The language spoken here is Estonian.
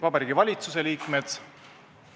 Vabariigi Valitsuse liikmed!